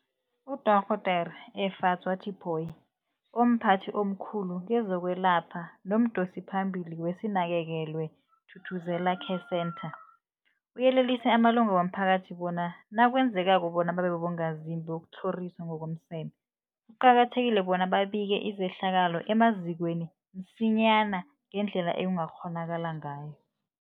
UDorh Efadzwa Tipoy, omphathi omkhulu kezokwelapha nomdosiphambili weSinakekelwe Thuthuzela Care Centre, uyelelise amalunga womphakathi bona nakwenzekako bona babe bongazimbi bokutlhoriswa ngokomseme, kuqakathekile bona babike izehlakalo emazikweni msinyana ngendlela ekungakghonakala ngayo.